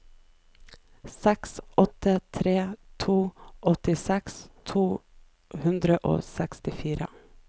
seks åtte tre to åttiseks to hundre og sekstifire